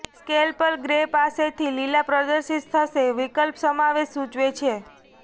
scale પર grey પાસેથી લીલા પ્રદર્શિત થશે વિકલ્પ સમાવેશ સૂચવે છે